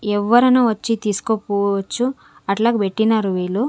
ఎవ్వరన్నా వచ్చి తీసుకోపోవచ్చు అట్లాగ పెట్టినారు వీళ్ళు.